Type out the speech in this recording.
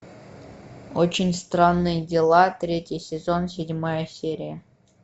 очень странные дела третий сезон седьмая серия